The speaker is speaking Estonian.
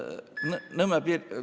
Nõmme piirkond ...